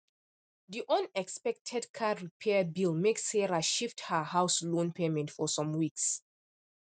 the unexpected car repair bill make sarah shift her house loan payment for some weeks